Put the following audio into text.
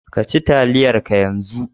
Ka ci taliyar ka yanzu!